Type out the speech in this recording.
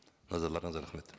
назарларыңызға рахмет